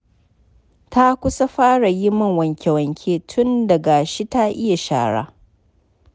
Ta kusa fara yin min wanke-wanke tun da gashi ta iya shara.